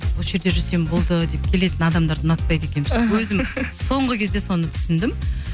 осы жерде жүрсем болды деп келетін адамдарды ұнатпайды екенмін өзім соңғы кезде соны түсіндім